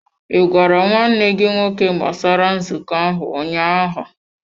Ị gwara nwanne gị nwoke gbasara nzukọ ahụ ụnyaahụ?